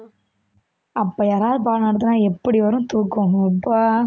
அப்ப யாராவது பாடம் நடத்தினா எப்படி வரும் தூக்கம் அப்பா